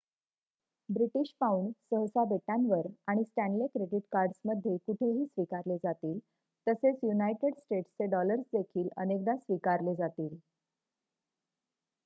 British pound सहसा बेटांवर आणि स्टॅनले क्रेडिट कार्ड्समध्ये कुठेही स्वीकारले जातील तसेच युनायटेड स्टेट्सचे डॉलर्स देखील अनेकदा स्वीकारले जातील